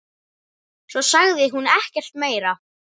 Svo sagði hún ekkert meira.